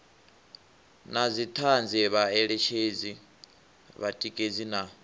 na dzithanzi vhaeletshedzi vhatikedzi na